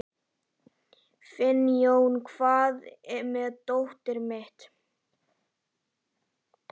Finnjón, hvar er dótið mitt?